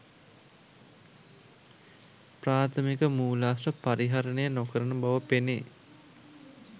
ප්‍රාථමික මූලාශ්‍ර පරිහරණය නොකරන බව පෙනේ